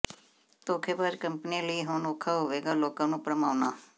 ਧੋਖੇਬਾਜ਼ ਕੰਪਨੀਆਂ ਲਈ ਹੁਣ ਔਖਾ ਹੋਵੇਗਾ ਲੋਕਾਂ ਨੂੰ ਭਰਮਾਉਣਾ